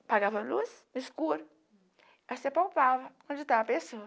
Apagava a luz no escuro, se apalpava onde estava a pessoa.